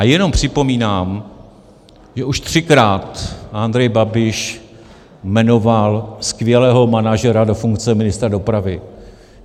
A jenom připomínám, že už třikrát Andrej Babiš jmenoval skvělého manažera do funkce ministra dopravy.